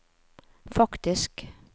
faktisk